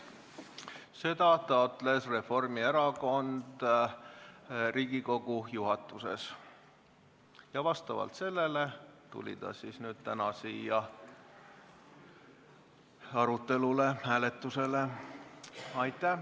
Seda taotles Riigikogu juhatuses Reformierakond ja vastavalt sellele tuli see ettepanek täna siia hääletusele.